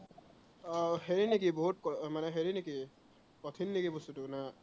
আহ হেৰি নেকি বহুত, মানে হেৰি নেকি কঠিন নেকি বস্তুটো না